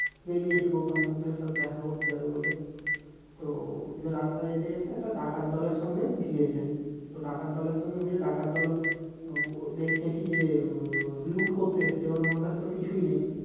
বেরিয়েছে গৌতম বুদ্ধের সাথে দেখা করতে যাবে বলে তো এবার রাস্তায় যেতে যেতে একটা ডাকাত দলের সাথে ভিড়েছে তো ডাকল দলের সঙ্গে ভিড়ে ডাকাত দল দেখছে কি যে লুট করতে এসেছে এবার ওনার কাছে তো কিছুই নেই